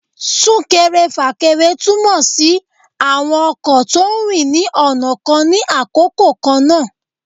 sunkẹrẹ-fakẹrẹ tumọ si awọn ọkọ to ń rín ní ọna kán ni àkókò kan na.